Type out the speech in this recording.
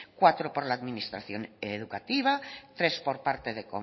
cuatro por la administración educativa tres por parte de